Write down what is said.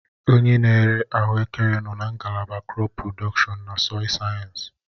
Onye na-ere ahuekere nọ na ngalaba krọp prodọkshọn na sọịl sayensị.